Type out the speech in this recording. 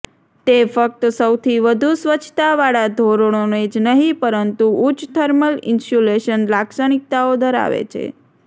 તે ફક્ત સૌથી વધુ સ્વચ્છતાવાળા ધોરણોને જ નહીં પરંતુ ઉચ્ચ થર્મલ ઇન્સ્યુલેશન લાક્ષણિકતાઓ ધરાવે છે